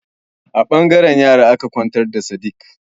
A ɓangaren yara aka kwantar da Sadik.